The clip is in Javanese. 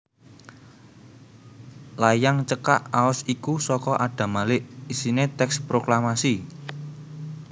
Layang cekak aos iku saka Adam Malik isiné tèks proklamasi